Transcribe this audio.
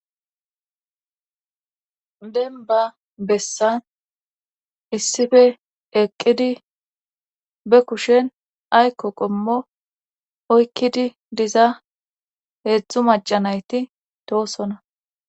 demba bessan issife eqqidi be kushen aykko qommo oykkidi diza heedzdzu macanayti toosona